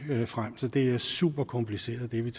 så det er super kompliceret det vi